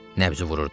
Nəbzi vururdu.